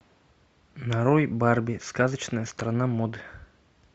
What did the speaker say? нарой барби сказочная страна моды